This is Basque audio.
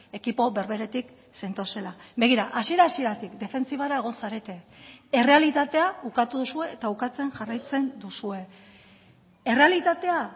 ekipo berberetik zentozela begira hasiera hasieratik defentsibara egon zarete errealitatea ukatu duzue eta ukatzen jarraitzen duzue errealitatea